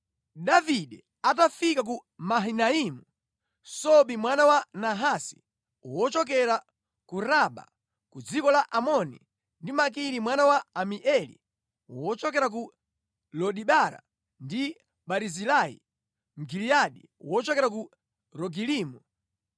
Davide atafika ku Mahanaimu, Sobi mwana wa Nahasi wochokera ku Raba ku dziko la Amoni ndi Makiri mwana wa Amieli wochokera ku Lodebara, ndi Barizilai Mgiliyadi wochokera ku Rogelimu